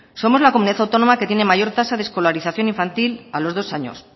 somos la comunidad autónoma que tiene mayor tasa de escolarización infantil a los dos años